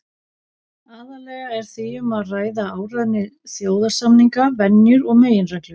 Aðallega er því um að ræða ákvæði alþjóðasamninga, venjur og meginreglur.